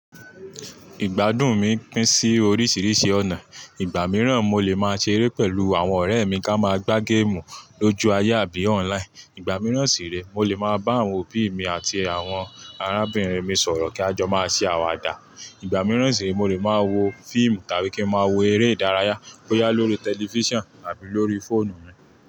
Ìgbádùn mi pín sí oríṣìíríṣìí ọ̀nà. Ìgbà mìíràn mo lè máa ṣe eré pẹ̀lú àwọn ọ̀rẹ́ mi ká máa gbá géèmù lójú ayé àbí online, ìgbà mìíràn sì rẹ, mo lè máa bá àwọn òbí mi àti àwọn arábìnrin mi sọ̀rọ̀ kí a jọ máa ṣe àwàdà. Ìgbà mìíràn sì rẹ, mo lè máa wo fíìmù tàbí kí ń máa wo eré ìdárayá bóyá lórí tẹlifísàn àbí lórí fóònù mi.